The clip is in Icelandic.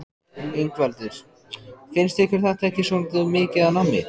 Ingveldur: Finnst ykkur þetta ekki svolítið mikið af nammi?